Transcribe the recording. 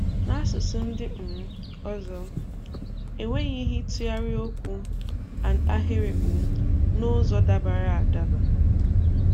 Na asụsụ ndị um ọzọ, E nweghị ihe ịtụgharị okwu and ahịrị um n'ụzọ dabara adaba.